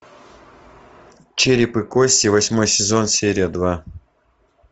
череп и кости восьмой сезон серия два